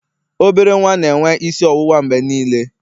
obere nwa na-enwe isi ọwụwa mgbe niile